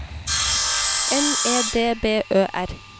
N E D B Ø R